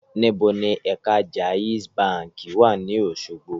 Níbo ni ẹ̀ka Jaiz báǹkì wà ní Òṣogbo?